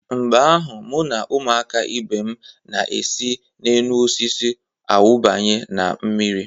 Mgbe ahụ, mụ na ụmụaka ibe m na-esi n'enuosisi awụbanye na mmiri.